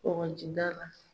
Kɔkɔjida la.